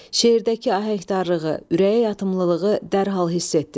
Şeirdəki ahəngdarlığı, ürəyəyatımlılığı dərhal hiss etdiniz.